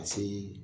Ka see